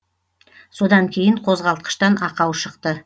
содан кейін қозғалтқыштан ақау шықты